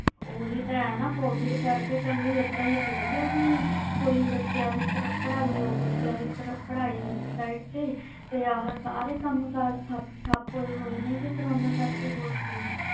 ਓਹੀ ਤੇ ਹੈ ਕੋਵਿਡ ਕਈ ਬੱਚੇ ਦੀ ਪੜ੍ਹਾਈ ਤੇ ਸਾਰੇ ਕਾਮ ਕਰ ਠੱਪ ਹੋਏ ਪਿਆ ਆ ਕਰੋਨਾ ਕਰਕੇ